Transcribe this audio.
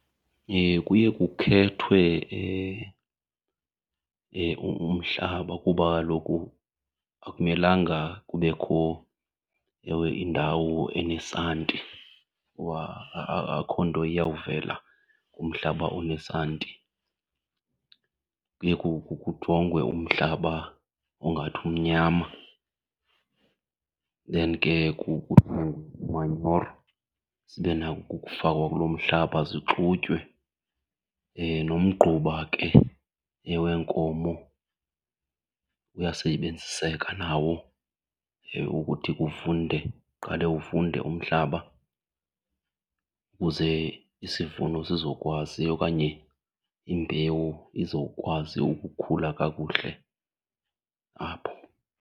Kuye kukhethwe umhlaba kuba kaloku akumelanga kubekho ewe indawo enesanti kuba akho nto iyawuvela kumhlaba onesanti. Kuye kujongwe umhlaba ongathi umnyama then ke kuthengwe iimanyoro zibe nako ukufakwa kulo mhlaba, zixutywe. Nomgquba ke wenkomo uyasebenziseka nawo ukuthi kuvunde, uqale uvunde umhlaba kuze isivuno sizokwazi okanye imbewu izokwazi ukukhula kakuhle apho.